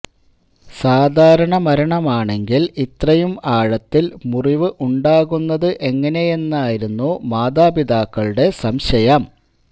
സാധാരണ മരണമാണെങ്കില് ഇത്രയും ആഴത്തില് മുറിവ് ഉണ്ടാകുന്നത് എങ്ങനെയെന്നായിരുന്നു മാതാപിതാക്കളുടെ സംശയം